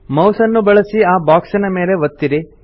mouse ನ್ನು ಬಳಸಿ ಆ ಬಾಕ್ಸಿನ ಮೇಲೆ ಒತ್ತಿರಿ